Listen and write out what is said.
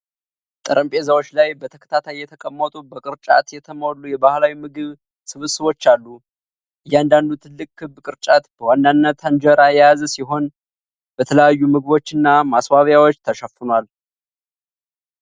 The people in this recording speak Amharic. ጠረጴዛዎች ላይ በተከታታይ የተቀመጡ በቅርጫት የተሞሉ የባህላዊ ምግብ ስብስቦች አሉ። እያንዳንዱ ትልቅ ክብ ቅርጫት በዋናነት እንጀራ የያዘ ሲሆን፣ በተለያዩ ምግቦች እና ማስዋቢያዎች ተሸፍኗል።